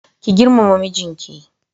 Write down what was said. Ki girmama mijinki.